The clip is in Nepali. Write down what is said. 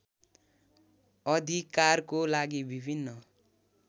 अधिकारको लागि विभिन्न